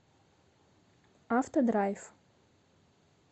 авто драйв